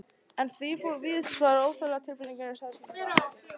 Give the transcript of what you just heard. En því fór víðsfjarri að þessi óþægilega tilfinning lagaðist neitt við þessar aðgerðir.